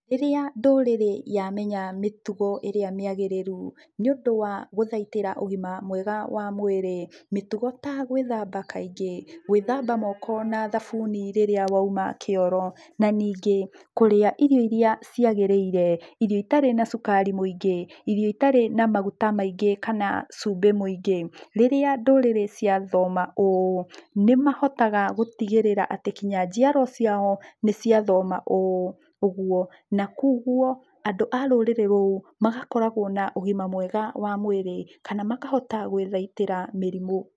Rĩrĩa ndũrĩrĩ yamenya mĩtugo ĩrĩa mĩagĩrĩru, nĩũndũ wa gũthaitĩra ũgima mwega wa mwĩrĩ, mĩtugo ta gũithamba kaingĩ, gũĩthamba moko na thabuni rĩrĩa wauma kĩoro, na ningĩ kũrĩa irio iria ciagĩrĩire, irio itarĩ na cukari mũingĩ, irio itarĩ na maguta maingĩ kana cumbĩ mũingĩ. Rĩrĩa ndũrĩrĩ ciathoma ũũ, nĩmahotaga gũtigĩrĩra atĩ kinya njiarwa ciao, nĩciathoma ũũ. Ũguo, na kuoguo, andũ a rũrĩrĩ rũu magakoragũo na ũgima mwega wa mwĩrĩ, kana makahota gũĩthaitĩra mĩrimũ.